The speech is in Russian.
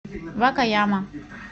вакаяма